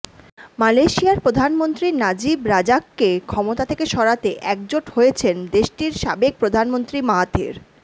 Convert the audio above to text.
মালয়েশিয়ার প্রধানমন্ত্রী নাজিব রাজাককে ক্ষমতা থেকে সরাতে একজোট হয়েছেন দেশটির সাবেক প্রধানমন্ত্রী মাহাথির